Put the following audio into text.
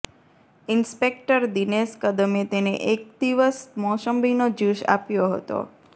inspector Dinesh કદમે તેને એક દિવસ મોસંબીનો જ્યૂસ આપ્યો હતો